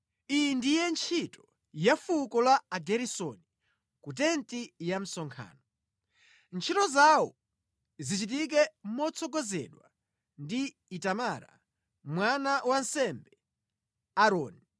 Iyi ndiye ntchito ya fuko la Ageresoni ku tenti ya msonkhano. Ntchito zawo zichitike motsogozedwa ndi Itamara mwana wa wansembe Aaroni.